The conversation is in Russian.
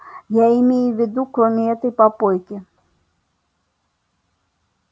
я имею в виду кроме этой попойки